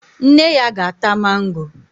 Nne ya ga-ata mango